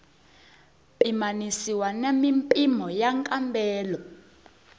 pimanisiwa na mimpimo ya nkambelo